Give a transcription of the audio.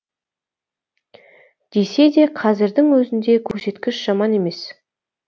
десе де қазірдің өзінде көрсеткіш жаман емес